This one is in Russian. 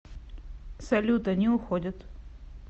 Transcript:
салют они уходят